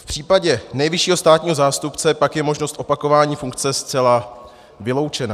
V případě nejvyššího státního zástupce pak je možnost opakování funkce zcela vyloučena.